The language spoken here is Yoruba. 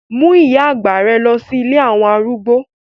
Mú ìyá àgbà rẹ lọ sí ilé àwọn arúgbó